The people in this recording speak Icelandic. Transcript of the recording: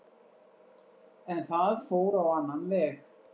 En það fór á annan veg